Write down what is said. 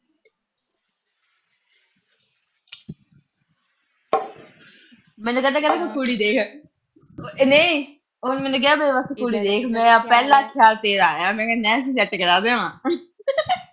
ਮੈਨੂੰ ਕਹਿੰਦਾ ਤੂੰ ਕੁੜੀ ਦੇਖ। ਮੈਨੂੰ ਕਹਿੰਦਾ ਤੂੰ ਮੇਰੇ ਵਾਸਤੇ ਕੁੜੀ ਦੇਖ। ਮੇਰਾ ਪਹਿਲਾ ਖਿਆਲ ਤੇਰਾ ਆਇਆ। ਮੈਂ ਕਿਹਾ ਨੈਨਸੀ ਨੂੰ set ਕਰਾ ਦੇਵਾ।